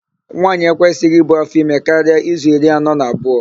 Nwaanyị ekwesịghị ibu áfọime karịa izu iri anọ na abụọ.